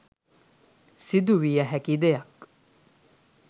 සිදුවිය හැකි දෙයක්.